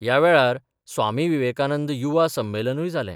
या वेळार स्वामी विवेकानंद युवा संमेलनूय जालें.